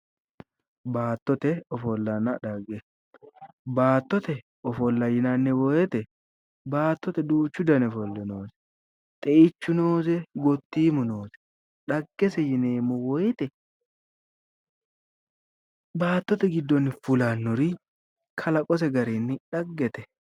Baattote ofollanna dhagge, baattote ofolla yianni woyte baattote duuchu dani ofolla noose xeichu noose, gotiimu noose dhagese yineemmo woyte baattote giddonni fulannori kalaqote garinni dhaggete.